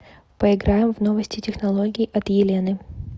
поиграем в новости технологий от елены